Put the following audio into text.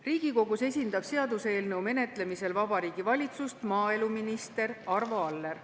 Riigikogus esindab seaduseelnõu menetlemisel Vabariigi Valitsust maaeluminister Arvo Aller.